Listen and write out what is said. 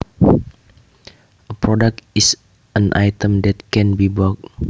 A product is an item that can be bought